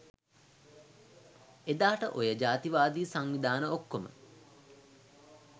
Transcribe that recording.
එදාට ඔය ජාතිවාදී සංවිධාන ඔක්කොම